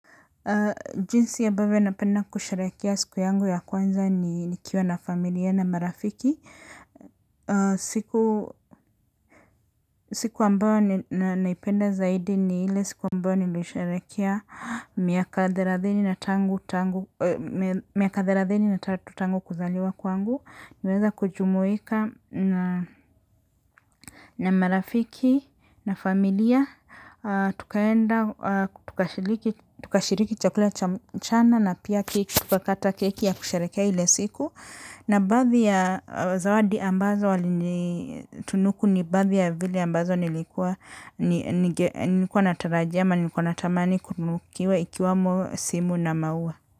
Jinsi ambavyo napenda kusherehekea siku yangu ya kwanza ni nikiwa na familia na marafiki. Siku ambayo naipenda zaidi ni ile siku ambayo nimesherehekea miaka thelathini na tatu tangu kuzaliwa kwangu. Niliweza kujumuika na marafiki na familia, tukaenda tukashiriki chakula cha mchana na pia keki. Tuka kata keki ya kusherehekea ile siku. Na baadhi ya zawadi ambazo walitunuku ni baadhi ya zile ambazo nilikuwa natarajia ama nilikuwa natamani kutunukiwa ikiwamo simu na maua.